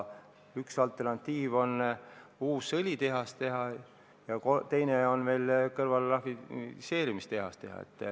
Üks alternatiive on uus õlitehas teha ja teine on sinna kõrvale veel rafineerimistehas teha.